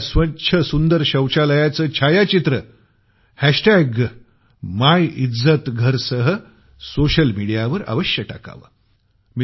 आपल्या स्वच्छ सुंदर शौचालयाचं छायाचित्र मिल्झातघर सह सोशल मिडियावर अवश्य टाकावं